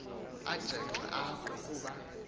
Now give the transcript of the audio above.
ajenxe apha kuba